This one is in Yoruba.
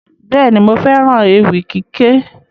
Bẹ́ẹ̀ni, mo fẹ́ràn ewì kíké